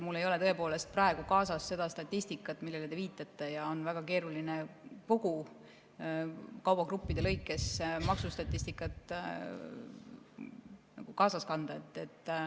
Mul ei ole praegu kaasas seda statistikat, millele te viitate, ja on väga keeruline kõigi kaubagruppide lõikes maksustatistikat kaasas kanda.